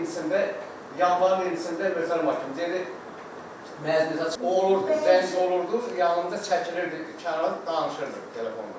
Ayın 20-sində, yanvarın 20-sində, möhtərəm hakim, dedi məhkəməyə çıxıb, zəng olurdu, yanında çəkilirdi kənara, danışırdı telefonla.